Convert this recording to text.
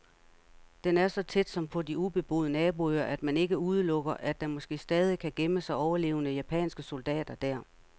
Den er så tæt, som på de ubeboede naboøer, at man ikke udelukker, at der måske stadig kan gemme sig overlevende japanske soldater der.